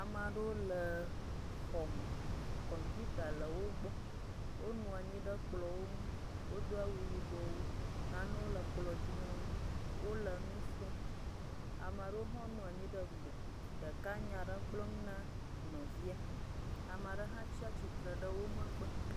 Ame aɖewo le emm.. kɔpita le wo gbɔ wonɔ anyi ɖe kplɔ ŋu nanewo ɖo le kplɔ dzi na wo, ame aɖewo hã le wo ŋgɔ, wole nya aɖe gblɔm, ame aɖe hã tsi atsitre ɖe wo megbe